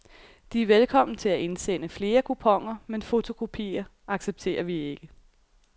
De er velkommen til at indsende flere kuponer, men fotokopier accepterer vi ikke.